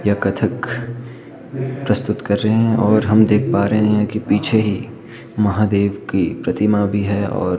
यह कत्थक प्रस्तुत कर रही है और हम देख पा रहे हैं कि पीछे ही महादेव की प्रतिमा भी है और--